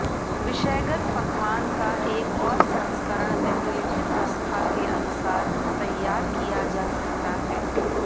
विषयगत पकवान का एक और संस्करण निम्नलिखित नुस्खा के अनुसार तैयार किया जा सकता है